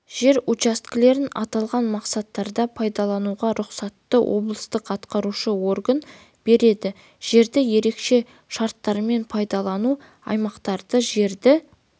жер учаскелерін аталған мақсаттарда пайдалануға рұқсатты облыстық атқарушы орган береді жерді ерекше шарттармен пайдалану аймақтары жерді